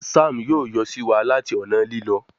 Sam yóò yọ siwa láti ọnà Lílọ